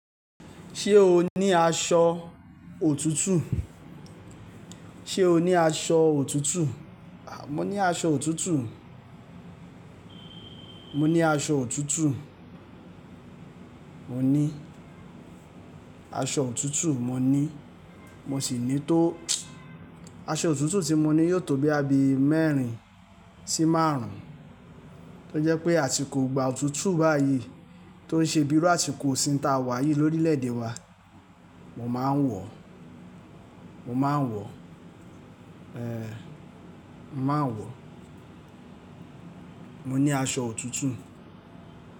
Ṣé o ní aṣọ òtútù? Ṣe o ní aṣọ òtútù? Mo ní aṣọ òtútù. Mo ní aṣọ òtútù. Mo ní aṣọ òtútù. Mo ní, mo sì ní tó-- aṣọ òtútù tí mo ní yóò tóbi abẹ́ mẹ́rin sí márùn-ún. Ó jẹ́ pé àsìkò ìgbà òtútù báyìí tó ń ṣe bíi àsìkò òṣìn ta wá yìí lórílẹ̀-èdè wa. Mo máa ń wọ̀. Mo máa ń wọ̀. Ehn. Mo máa ń wọ̀. Mo ní aṣọ òtútù.